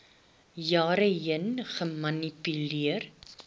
jare heen gemanipuleer